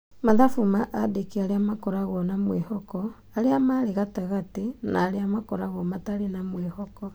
Mathabu ma aandĩki arĩa makoragwo na mwĩhoko, arĩa marĩ gatagatĩ na arĩa makoragwo matarĩ na mwĩhoko.